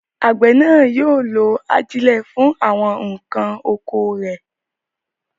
Àgbẹ̀ náà yóò lo ajílẹ̀ fún àwọn nǹkan oko rẹ̀.